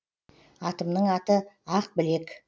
атымның аты ақбілек